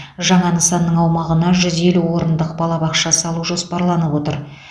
жаңа нысанның аумағына жүз елу орындық балабақша салу жоспарланып отыр